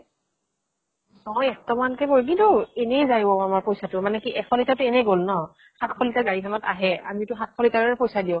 অহ, এক টকা মান কে পৰে। কিন্তু এনে যায় অ আমাৰ পইচাটো, মানে কি এশ litre তো এনে গল ন। সাত শ কে গাড়ী খনত আহে, আমি টো সাত শ litre ৰে পইচা দিওঁ